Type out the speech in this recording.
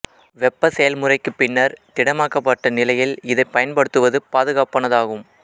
வெப்பச் செயல்முறைக்குப் பின்னர் திடமாக்கப்பட்ட நிலையில் இதைப் பயன்படுத்துவது பாதுகாப்பானதாகும்